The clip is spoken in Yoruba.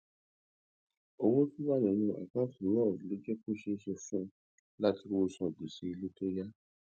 owó tó wà nínú àkáǹtì náà ló jé kó ṣeé ṣe fún un láti rówó san gbèsè ilé tó yá